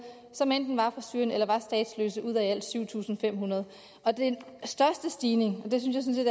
som enten var fra syrien eller var statsløse ud af i alt syv tusind fem hundrede den største stigning og det synes jeg